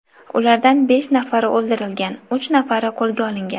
Ulardan besh nafari o‘ldirilgan, uch nafari qo‘lga olingan.